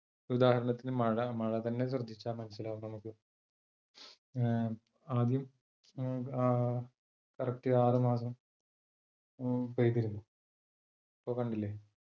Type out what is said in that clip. ഉദാഹരണത്തിന് മഴ മഴ തന്നെ ശ്രദ്ധിച്ചാൽ മനസ്സിലാവും നമുക്ക് ഏർ ആദ്യം അഹ് ആ correct ആറ് മാസം മ് പെയ്തിരുന്നു. ഇപ്പൊ കണ്ടില്ലേ